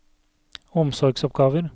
omsorgsoppgaver